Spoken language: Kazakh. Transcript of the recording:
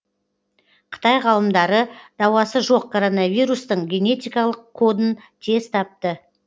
қытай ғалымдары дауасы жоқ короновирустың генетикалық кодын тез тапты